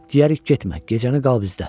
Diyərik getmə, gecəni qal bizdə.